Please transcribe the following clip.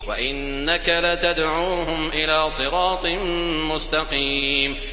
وَإِنَّكَ لَتَدْعُوهُمْ إِلَىٰ صِرَاطٍ مُّسْتَقِيمٍ